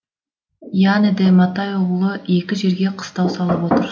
ианеде матайұғлы екі жерге қыстау салып отыр